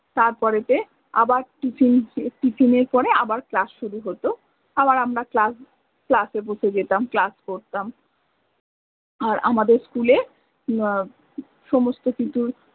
তার পরে তে আবার tiffin এর পরে আবার class শুরু হত, আবার আমরা class class এ বসে যেতাম class করতাম আর আমাদের school এ সমস্ত কিছুর